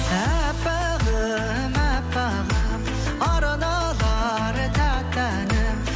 әппағым әппағым арналар тәтті әнім